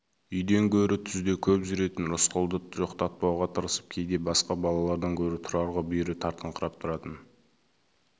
үйден гөрі түзде көп жүретін рысқұлды жоқтатпауға тырысып кейде басқа балалардан гөрі тұрарға бүйірі тартыңқырап тұратын